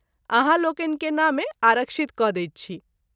आहाँ लोकनि के नामे आरक्षित क’ दैत छी।